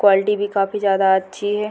Quality भी काफी ज्यादा अच्छी है।